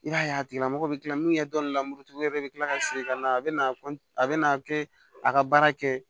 I b'a ye a tigila mɔgɔ bɛ kila min kɛ dɔni la muru tigi wɛrɛ i bɛ kila ka segin ka na a bɛ na a bɛna kɛ a ka baara kɛ